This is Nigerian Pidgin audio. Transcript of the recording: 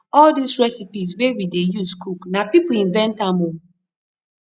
all des recipes wey we dey use cook na people invent am oo